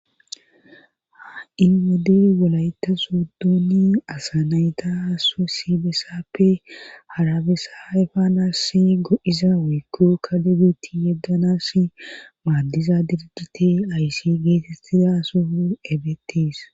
Ha inwode wolayta soodooni asanayta swesibessappe harabesa faanasi go'iza woykko kadebuti yeddanas maaddiza dirgite ayssi geetettida soho ebetis.